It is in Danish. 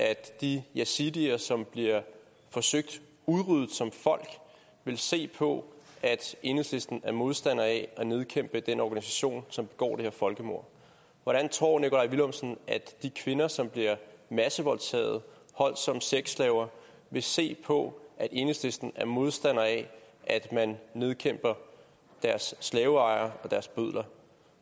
at de jasittier som bliver forsøgt udryddet som folk vil se på at enhedslisten er modstander af at nedkæmpe den organisation som begår det her folkemord hvordan tror nikolaj villumsen at de kvinder som bliver massevoldtaget holdt som sexslaver vil se på at enhedslisten er modstander af at man nedkæmper deres slaveejere og deres bødler